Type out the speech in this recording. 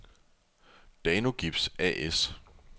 Danogips A/S